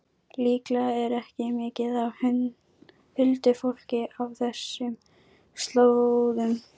Líklega er ekki mikið af huldufólki á þessum slóðum.